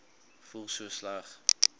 voel so sleg